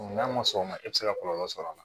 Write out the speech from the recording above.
N'a ma sɔn o ma e tɛ se ka kɔlɔlɔ sɔrɔ a la